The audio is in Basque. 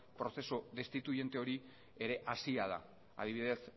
prozesu destituiente hori ere hasia da adibidez